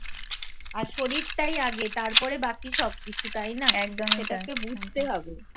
আর শরীরটাই আগে তারপরে বাকি সব কিছু তাই না? সেটাকে বুঝতে হবে